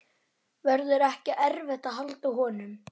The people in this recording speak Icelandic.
Verður ekki erfitt að halda honum?